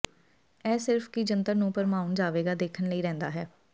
ਇਹ ਸਿਰਫ ਕੀ ਜੰਤਰ ਨੂੰ ਭਰਮਾਉਣ ਜਾਵੇਗਾ ਦੇਖਣ ਲਈ ਰਹਿੰਦਾ ਹੈ